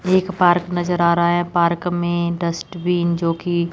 एक पार्क नजर आ रहा है पार्क में डस्टबिन जो कि--